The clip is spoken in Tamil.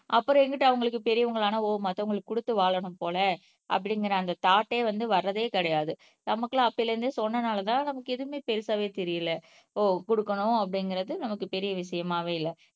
அப்பறம் எங்குட்டு அவங்களுக்கு பெரியவங்களான ஓ மத்தவங்களுக்கு கொடுத்து வாழணும் போல அப்படிங்கிற அந்த தாட்டே வந்து வர்றதே கிடையாது. நமக்குலாம் அப்பையில இருந்தே சொன்னதுனாலதான் நமக்கு எதுவுமே பெருசாவே தெரியலே ஓ குடுக்கணும் அப்படிங்கிறது நமக்கு பெரிய விஷயமாவே இல்ல.